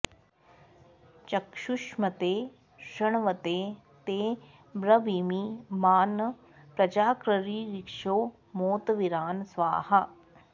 चक्षुष्मते शृण्वते ते ब्रवीमि मा न प्रजाकृरीरिषो मोत वीरान् स्वाहा